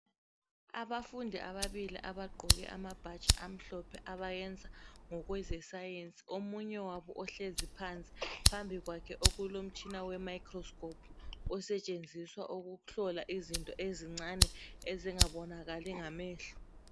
Abafundi ababili abagqoke amabhatshi amhlophe abayenza ngokwezescience, omunye wabo ohlezi phansi phambi kwakhe okulomtshina wemicroscope osetshenziswa ukuhlola izinto ezincane ezingabonakali ngamehlo.